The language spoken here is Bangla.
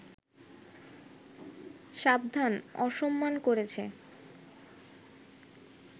সাবধান, অসম্মান করেছে